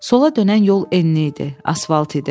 Sola dönən yol enli idi, asfalt idi.